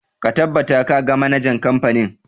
Ka tabbata ka ga manajan kamfanin!